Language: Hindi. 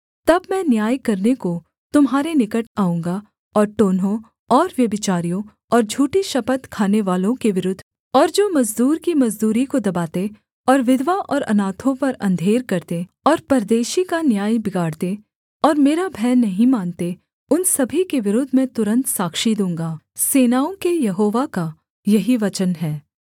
तब मैं न्याय करने को तुम्हारे निकट आऊँगा और टोन्हों और व्यभिचारियों और झूठी शपथ खानेवालों के विरुद्ध और जो मजदूर की मजदूरी को दबाते और विधवा और अनाथों पर अंधेर करते और परदेशी का न्याय बिगाड़ते और मेरा भय नहीं मानते उन सभी के विरुद्ध मैं तुरन्त साक्षी दूँगा सेनाओं के यहोवा का यही वचन है